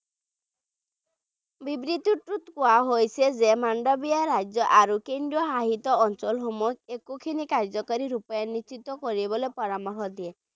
বিবৃতিটোত কোৱা হৈছে যে মাণ্ডাভিয়াই ৰাজ্য আৰু কেন্দ্ৰশাসিত অঞ্চল খিনি কাৰ্য্যকাৰী ৰূপায়িত কৰিবলৈ পৰামৰ্শ দিয়ে